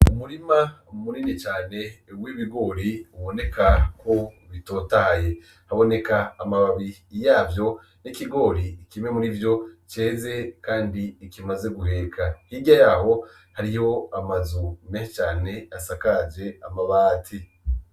Umurima munini cane w'ibigori uboneka ko bitotahaye. Haboneka amababi yavyo,n' ikigori kimwe murivyo ceze kandi kimaze guheka. Hirya yawo, hariyo amazu menshi cane asakaje amabati.